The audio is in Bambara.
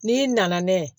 N'i nana n'a ye